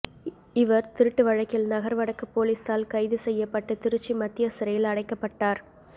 இவர் திருட்டு வழக்கில் நகர் வடக்கு போலீசால் கைது செய்யப்பட்டு திருச்சி மத்திய சிறையில் அடைக்கப்பட்டார்